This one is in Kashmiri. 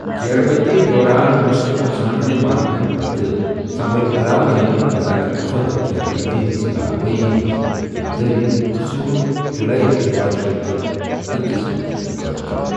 گیرٕ بٔنٛدی دوران نصرت خان نہِ مارنہٕ پتہٕ، سمبٲل علاؤالدینن بَزاتہِ خۄد گیرٕ بٔنٛدی ہنٛز کاروٲیی ہُنٛز ذمہٕ دٲری تہٕ زِیوُنُن جوٗلایہ تٔرۄہَ شیتھ تہٕ اکَس منٛز یہِ قٕعلہٕ۔